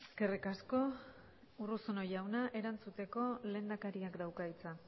eskerrik asko urruzuno jauna erantzuteko lehendakariak dauka hitza